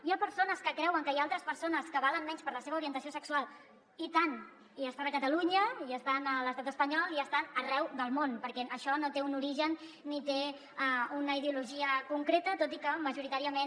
hi ha persones que creuen que hi ha altres persones que valen menys per la seva orientació sexual i tant i estan a catalunya i estan a l’estat espanyol i estan arreu del món perquè això no té un origen ni té una ideologia concreta tot i que majoritàriament